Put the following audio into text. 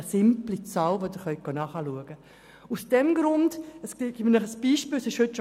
Das ist eine simple Zahl, die überprüft werden kann.